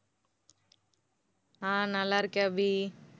ஆஹ் நல்லா இருக்கேன் அபி.